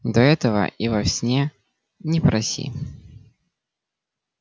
да этого и во сне не проси